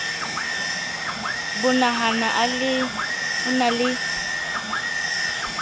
bo nahala a na le